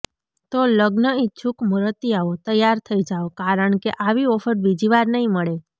તો લગ્ન ઇચ્છુક મુરતિયાઓ તૈયાર થઇ જાવ કારણ કે આવી ઓફર બીજી વાર નહીં મળે